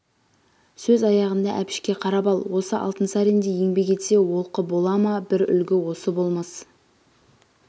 сөз аяғында әбішке қарап ал осы алтынсариндей еңбек етсе олқы бола ма бір үлгі осы болмас